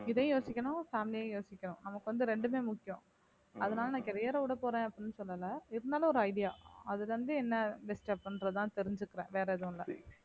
இதையும் யோசிக்கணும் family யும் யோசிக்கணும் நமக்கு வந்து இரண்டுமே முக்கியம் அதனால நான் career அ விடப் போறேன் அப்படின்னு சொல்லலை இருந்தாலும் ஒரு idea அதுல இருந்து என்னை disturb பண்றதுதான் தெரிஞ்சுக்கிறேன் வேற எதுவும் இல்லை